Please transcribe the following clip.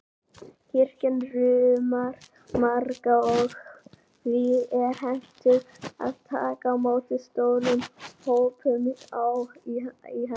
Kirkjan rúmar marga, og því er hentugt að taka á móti stórum hópum í henni.